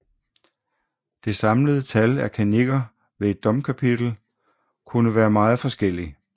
Det samlede tal af kannikker ved et domkapitel kunne være meget forskellig